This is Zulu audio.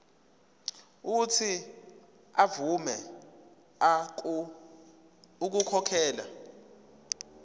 uuthi avume ukukhokhela